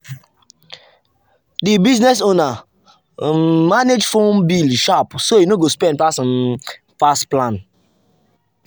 the business owner um manage phone bill sharp so e no go spend um pass plan.